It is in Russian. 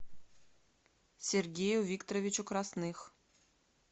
сергею викторовичу красных